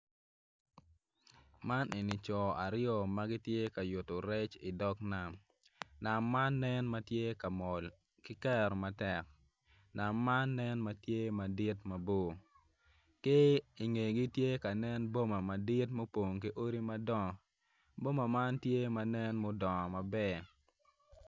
man enni co aryo ma gitye ka yutu rec idog nam nam man nen ma tye ka mol ki keru matek nam man nen ma tye madit mabor ki i ngegi tye ka nen boma mo madit mupong ki odi madongo boma man tye ma nen mudongo maber